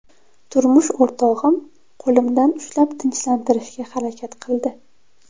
Turmush o‘rtog‘im qo‘limdan ushlab tinchlantirishga harakat qildi.